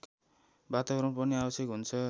वातावरण पनि आवश्यक हुन्छ